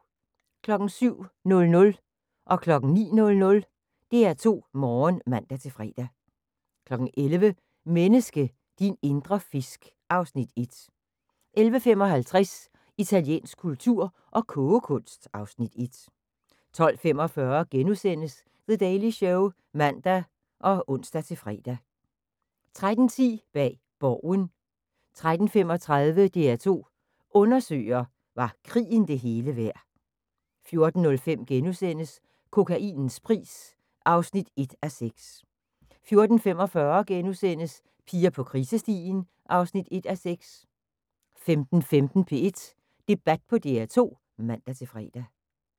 07:00: DR2 Morgen (man-fre) 09:00: DR2 Morgen (man-fre) 11:00: Menneske – din indre fisk (Afs. 1) 11:55: Italiensk kultur og kogekunst (Afs. 1) 12:45: The Daily Show *(man og ons-fre) 13:10: Bag Borgen 13:35: DR2 Undersøger: Var krigen det hele værd 14:05: Kokainens pris (1:6)* 14:45: Piger på krisestien (1:6)* 15:15: P1 Debat på DR2 (man-fre)